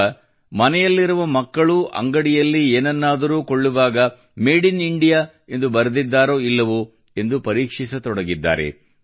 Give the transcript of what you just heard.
ಈಗ ಮನೆಯಲ್ಲಿರುವ ಮಕ್ಕಳೂ ಅಂಗಡಿಯಲ್ಲಿ ಏನಾದ್ರೂ ಕೊಳ್ಳುವಾಗ ಮೇಡ್ ಇನ್ ಇಂಡಿಯಾ ಎಂದು ಬರೆದಿದ್ದಾರೋ ಇಲ್ಲವೋ ಎಂದು ಪರೀಕ್ಷಿಸತೊಡಗಿದ್ದಾರೆ